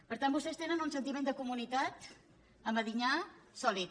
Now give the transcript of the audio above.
per tant vostès tenen un sentiment de comunitat a medinyà sòlid